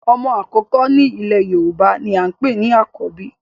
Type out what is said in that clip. Omo akoko ni ile Yoruba ni a npe ni Akobi